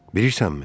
Bilirsənmi?